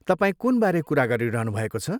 तपाईँ कुनबारे कुरा गरिरहनुभएको छ?